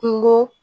Kungo